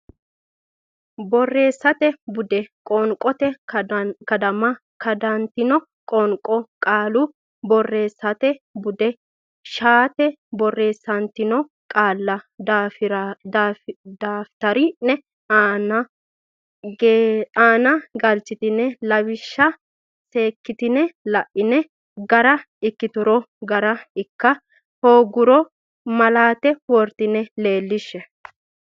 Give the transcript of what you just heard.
Borreessate Bude Qoonqote Kadama Kadantino qoonqo qaalu borreessate budi shaete borreessantino qaalla daftari ne aana galchidhine lawishsha seekkitine la ine gara ikkituro gara ikka hoogguro malaate woratenni leellihshe.